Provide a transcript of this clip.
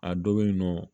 A dɔ bɛ yen nɔ